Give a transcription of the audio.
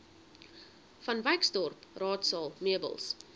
vanwyksdorp raadsaal meubels